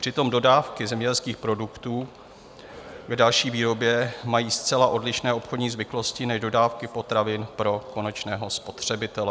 Přitom dodávky zemědělských produktů k další výrobě mají zcela odlišné obchodní zvyklosti než dodávky potravin pro konečného spotřebitele.